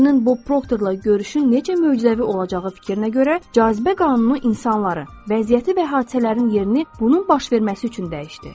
Cinin Bob Proktorla görüşün necə möcüzəvi olacağı fikrinə görə cazibə qanunu insanları, vəziyyəti və hadisələrin yerini bunun baş verməsi üçün dəyişdi.